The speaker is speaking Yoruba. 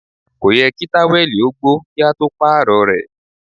Kò yẹ kí táwẹ̀lì ó gbó kí a tó Pààrọ̀ rẹ̀